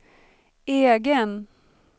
egen